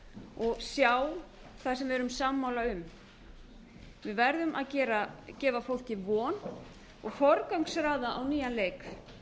og sjá það sem við erum sammála um við verðum að gefa fólki von og forgangsraða á nýjan leik